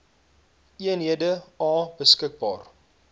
eenhede a beskikbaar